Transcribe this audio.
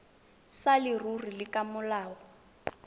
sa leruri le ka molao